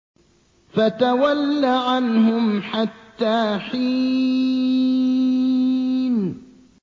فَتَوَلَّ عَنْهُمْ حَتَّىٰ حِينٍ